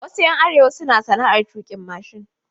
Wasu ƴan arewa suna sana'ar tuƙin mashin.